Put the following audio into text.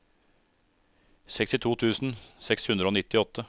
sekstito tusen seks hundre og nittiåtte